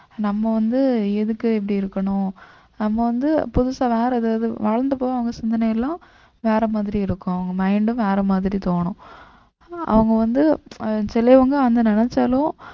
நம்ம வந்து எதுக்கு இப்படி இருக்கணும் நம்ம வந்து புதுசா வேற ஏதாவது வளர்ந்த அப்புறம் அவுங்க சிந்தனை எல்லாம் வேற மாதிரி இருக்கும் அவங்க mind ம் வேற மாதிரி தோணும் அவங்க வந்து அஹ் சிலவங்க அதை நினைச்சாலும்